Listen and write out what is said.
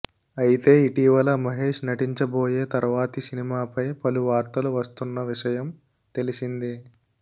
అయితే ఇటీవల మహేష్ నటించబోయే తర్వాతి సినిమాపై పలు వార్తలు వస్తున్న విషయం తెలిసిందే